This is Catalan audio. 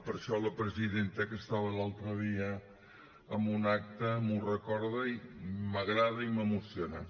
per això la presidenta que estava l’altre dia en un acte m’ho recorda i m’agrada i m’emociona